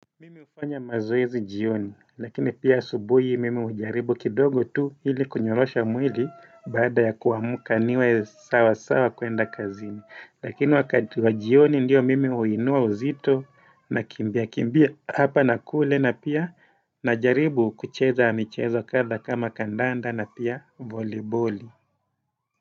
Mimi ufanya mazoezi jioni lakini pia subuhi mimi ujaribu kidogo tu hili kunyolosha mwili baada ya kuamka niwe sawa sawa kuenda kazini lakini wakati wa jioni ndiyo mimi huinua uzito na kimbia kimbia hapa na kule na pia najaribu kucheza michezo kadha kama kandanda na pia voleiboli.